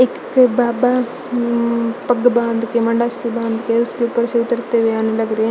एक बाबा ऊ पग बांध के मंडस्य से बांध के उसके ऊपर से उतरते हुए आने लग रहे --